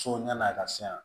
So yan'a ka se yan